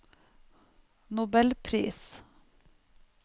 nobelpris